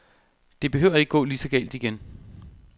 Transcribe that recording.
Det behøver ikke gå lige så galt igen.